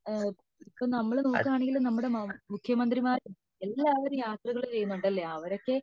ഇപ്പൊ നമ്മൾ നോക്കണെങ്കിൽ നമ്മുടെ മുഖ്യമന്ത്രിമാര് എല്ലാരും യാത്രകൾ ചെയ്യുന്നുണ്ടല്ലേ അവരൊക്കെ